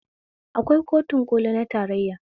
Akwai kotun ƙoli na tarayya